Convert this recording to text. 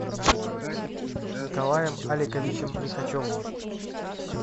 николаем аликовичем лихачевым